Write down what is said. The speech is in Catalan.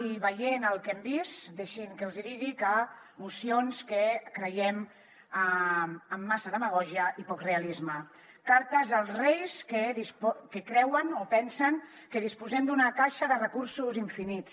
i veient el que hem vist deixin que els hi digui que mocions que creiem amb massa demagògia i poc realisme cartes als reis que creuen o pensen que disposem d’una caixa de recursos infinits